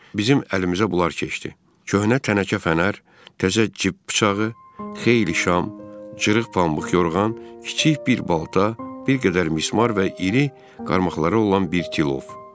Bizim əlimizə bunlar keçdi: köhnə tənəkə fənər, təzə cib bıçağı, xeyli şam, cırıq pambıq yorğan, kiçik bir balta, bir qədər mismar və iri qarmaqlara olan bir tilov.